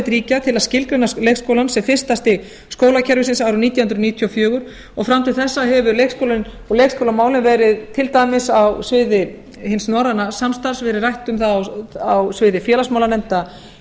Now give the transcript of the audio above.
ríkja til að skilgreina leikskólann sem fyrsta stig skólakerfisins árið nítján hundruð níutíu og fjögur og fram til þessa hefur leikskólinn og leikskólamálin verið til dæmis á sviði hins norræna samstarfs verið rætt um það á sviði félagsmálanefnda